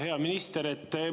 Hea minister!